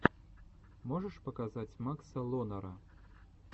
можешь показать макса лонера